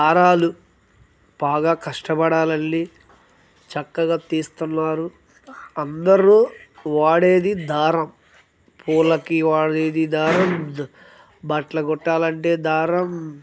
దారాలు బాగా కష్టపడా లల్లి చక్కగా తీస్తున్నారు. అందరూ వాడేది దారం . పూలకి వాడేది దారం బట్టలు కుట్టాలంటే దారం--